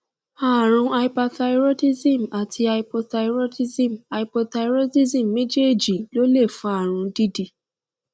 àrùn hyperthyroidism àti hypothyroidism hypothyroidism méjèèjì ló lè fa irun dídì